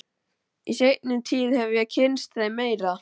Í seinni tíð hef ég kynnst þeim meira.